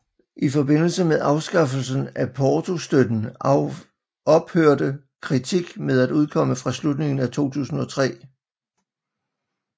I forbindelse med afskaffelsen af portostøtten ophørte Critique med at udkomme fra slutningen af 2003